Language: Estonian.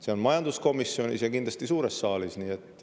See on majanduskomisjonis ja kindlasti ka suures saalis.